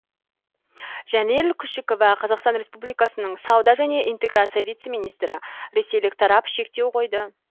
жәнел күшікова қазақстан республикасының сауда және интеграция вице министрі ресейлік тарап шектеу қойды